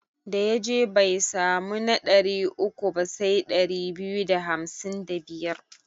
Da ya je bai samu na ɗari uku ba sai ɗari biyu da hamsin da biyar.